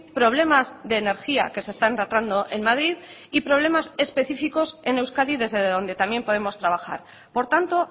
problemas de energía que se están tratando en madrid y problemas específicos en euskadi desde donde también podemos trabajar por tanto